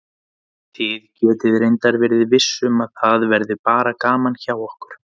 Þið getið reyndar verið viss um að það verður bara gaman hjá okkur.